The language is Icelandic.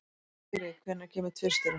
Sigri, hvenær kemur tvisturinn?